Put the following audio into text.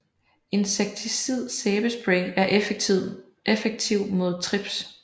Insekticid sæbespray er effektiv mod trips